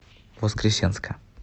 воскресенска